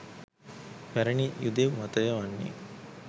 පැරැණි යුදෙව් මතය වන්නේ